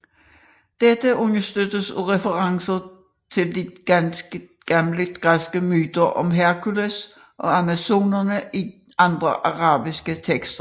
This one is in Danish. Dette understøttes af referencer til de gamle græske myter om Herkules og amazonerne i andre arabiske tekster